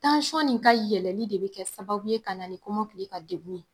in ka yɛlɛli de bɛ kɛ sababu ye ka na nikɔmɔkili ka degun ye